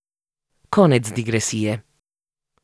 Konec digresije.